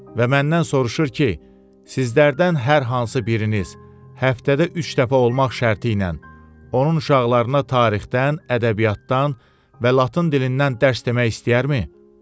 Və məndən soruşur ki, sizlərdən hər hansı biriniz həftədə üç dəfə olmaq şərti ilə onun uşaqlarına tarixdən, ədəbiyyatdan və latın dilindən dərs demək istəyərmi?